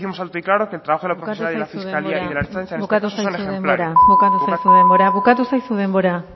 décimos alto y claro que el trabajo de la bukatu zaizu denbora bukatu zaizu denbora